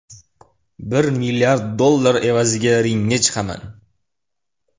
Bir milliard dollar evaziga ringga chiqaman.